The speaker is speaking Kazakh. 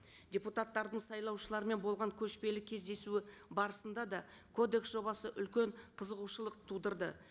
депутаттардың сайлаушылармен болған көшпелі кездесуі барысында да кодекс жобасы үлкен қызығушылық тудырды